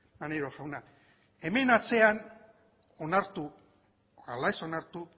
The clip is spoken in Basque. maneiro jauna hemen atzean onartu ala ez onartu